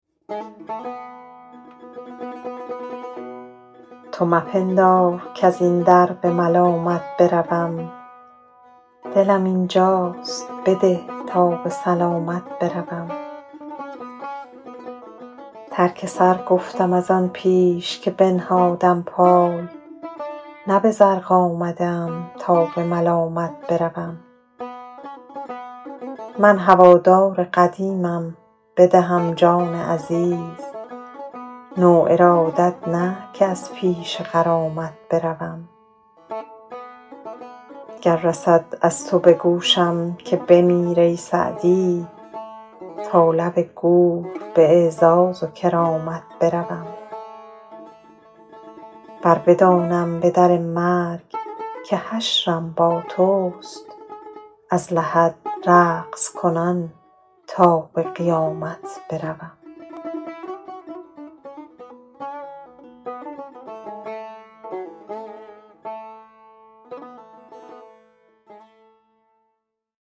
تو مپندار کز این در به ملامت بروم دلم اینجاست بده تا به سلامت بروم ترک سر گفتم از آن پیش که بنهادم پای نه به زرق آمده ام تا به ملامت بروم من هوادار قدیمم بدهم جان عزیز نو ارادت نه که از پیش غرامت بروم گر رسد از تو به گوشم که بمیر ای سعدی تا لب گور به اعزاز و کرامت بروم ور بدانم به در مرگ که حشرم با توست از لحد رقص کنان تا به قیامت بروم